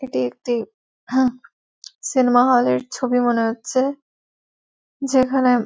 এটি একটি হাঁ সিনেমা হল -এর ছবি মনে হচ্ছে যেখানে--